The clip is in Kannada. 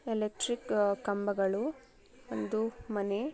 ಎಲೆಕ್ಟ್ರಿಕ್ ಆಹ್ ಕಂಬಗಳು ಒಂದು ಮನೆ --